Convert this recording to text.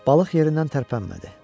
Balıq yerindən tərpənmədi.